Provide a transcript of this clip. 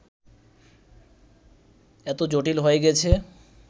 এত জটিল হয়ে গেছে